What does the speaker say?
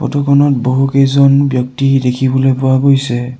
Photo খনত বহুকেইজন ব্যক্তি দেখিবলৈ পোৱা গৈছে।